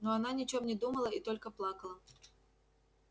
но она ни о чем не думала и только плакала